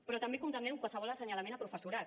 però també condemnem qualsevol assenyalament a professorat